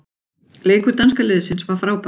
Leikur danska liðsins var frábær.